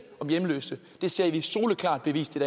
om hjemløse det ser vi soleklart bevist